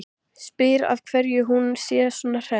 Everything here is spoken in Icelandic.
Spyr af hverju hún sé svona hress.